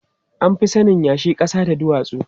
An fi sanin yashi, ƙasa da duwatsu.